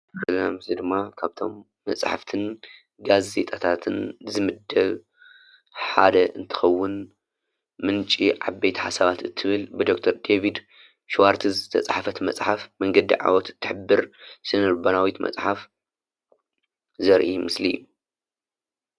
እዞም ካብቶም እዚ ድማ ካብቶም መፅሓፍትን ጋዜጣታትን ዝምደብ ሓደ እንትኸውን ምንጪ ዓብይቲ ሓሳባት እትብል ብዶክተር ዴቨድ ሽዋርት ዝተፃሓፈት መፅሓፍ መንገዲ ዓወት እትሕብር ስነ-ልቦናዊት መፅሓፍ ዘርኢ ምስሊ እዩ።